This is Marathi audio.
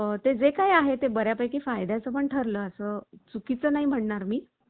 ते जे काही आहे ते बऱ्यापैकी फायद्याचं पण ठरलं असं चुकीचं नाही म्हणणार मी